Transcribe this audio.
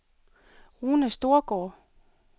Rune Storgaard